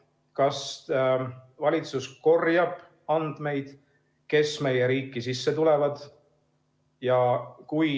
Kas valitsus korjab andmeid, kes meie riiki sisse tulevad?